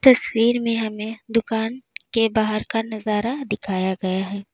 तस्वीर में हमें दुकान के बाहर का नजारा दिखाया गया है।